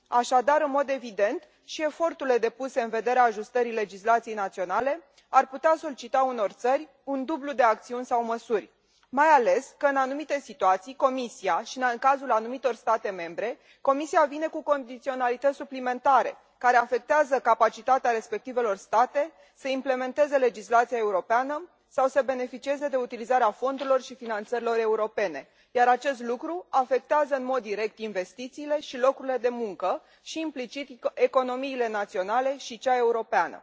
Așadar, în mod evident, și eforturile depuse în vederea ajustării legislației naționale ar putea solicita unor țări un dublu de acțiuni sau măsuri, mai ales că, în anumite situații și în cazul anumitor state membre, Comisia vine cu condiționalități suplimentare, care afectează capacitatea respectivelor state să implementeze legislația europeană sau să beneficieze de utilizarea fondurilor și finanțărilor europene, iar acest lucru afectează în mod direct investițiile și locurile de muncă și, implicit, economiile naționale și cea europeană.